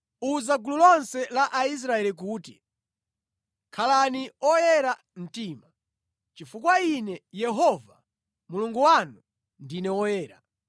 “Uza gulu lonse la Aisraeli kuti, ‘Khalani oyera mtima chifukwa Ine, Yehova Mulungu wanu, ndine Woyera.